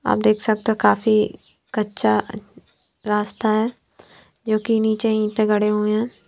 आप देख सकते हो काफी कच्चा रास्ता है जो कि नीचे ईंट गड़े हुए हैं।